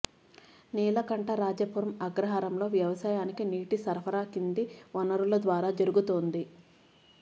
నీలకంఠరాజపురం అగ్రహారంలో వ్యవసాయానికి నీటి సరఫరా కింది వనరుల ద్వారా జరుగుతోంది